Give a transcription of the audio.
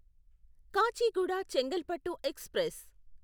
Kacheguda Chengalpattu express